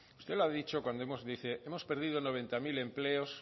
usted lo ha dicho hemos perdido noventa mil empleos